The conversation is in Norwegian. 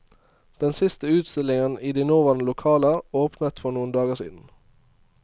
Den siste utstillingen i de nåværende lokaler åpnet for noen dager siden.